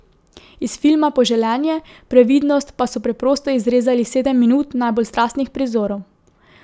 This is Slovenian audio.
Iz filma Poželenje, previdnost pa so preprosto izrezali sedem minut najbolj strastnih prizorov.